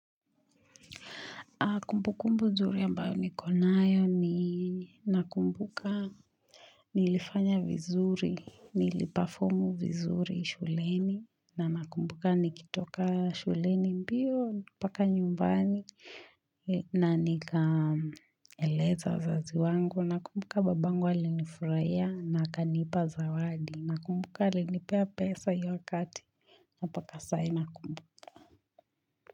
Kumbukumbu zuri ambayo nikonayo ni nakumbuka nilifanya vizuri, nilipafomu vizuri shuleni na nakumbuka nikitoka shuleni mbio, mpaka nyumbani na nikaeleza wazazi wangu. Nakumbuka babangu alinifurahiya na akanipa zawadi. Nakumbuka alinipea pesa hio wakati, mpaka saa hii nakumbuka.